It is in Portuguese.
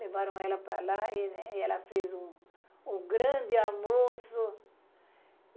Levaram ela para lá e ela fez o, o grande almoço.